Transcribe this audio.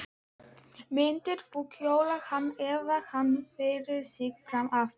Myndir þú kjósa hann ef hann byði sig fram aftur?